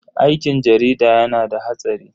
Aikin jarida yana da hatsari.